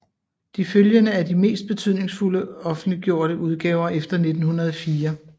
De følgende er de mest betydningsfulde offentliggjorte udgaver efter 1904